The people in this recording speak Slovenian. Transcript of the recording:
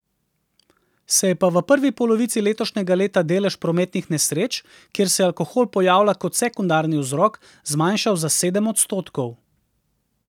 Se je pa v prvi polovici letošnjega leta delež prometnih nesreč, kjer se alkohol pojavlja kot sekundarni vzrok, zmanjšal za sedem odstotkov.